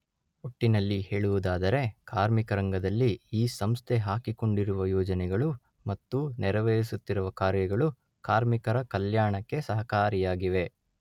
ಒಟ್ಟಿನಲ್ಲಿ ಹೇಳುವುದಾದರೆ ಕಾರ್ಮಿಕರಂಗದಲ್ಲಿ ಈ ಸಂಸ್ಥೆ ಹಾಕಿಕೊಂಡಿರುವ ಯೋಜನೆಗಳು ಮತ್ತು ನೆರವೇರಿಸುತ್ತಿರುವ ಕಾರ್ಯಗಳು ಕಾರ್ಮಿಕರ ಕಲ್ಯಾಣಕ್ಕೆ ಸಹಕಾರಿಯಾಗಿವೆ